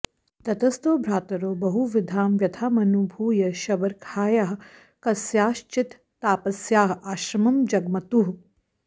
ततस्तौ भ्रातरौ बहुविधां व्यथामनुभूय शबर्याख्यायाः कस्याश्चित्तापस्याः आश्रमं जग्मतुः